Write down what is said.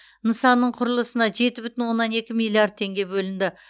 нысанның құрылысына жеті бүтін оннан екі миллиард теңге бөлінді